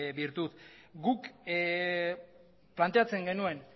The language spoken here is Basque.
virtud guk planteatzen genuen